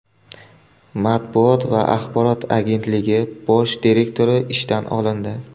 Matbuot va axborot agentligi bosh direktori ishdan olindi.